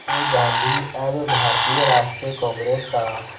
से गांधी अब भारतीय राष्ट्रीय कांग्रेस का